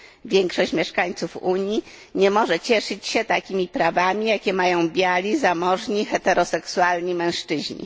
Większość mieszkańców Unii nie może cieszyć się takimi prawami, jakie mają biali, zamożni, heteroseksualni mężczyźni.